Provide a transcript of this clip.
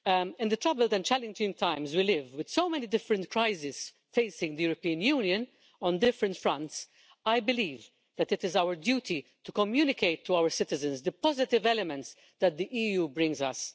In the troubled and challenging times in which we live, with so many different crises facing the European Union on different fronts, I believe that it is our duty to communicate to our citizens the positive elements that the EU brings us.